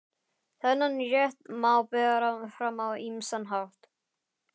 Þennan rétt má bera fram á ýmsan hátt.